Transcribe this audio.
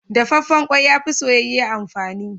Dafaffen ƙwai, ya fi soyayye amfani.